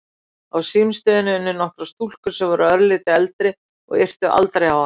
Á símstöðinni unnu nokkrar stúlkur sem voru örlítið eldri og yrtu aldrei á hana.